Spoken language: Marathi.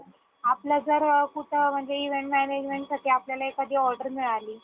आपला जर कुठं अ म्हणजे event management साठी आपल्याला एखादी order मिळाली